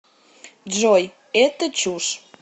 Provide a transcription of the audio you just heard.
джой это чушь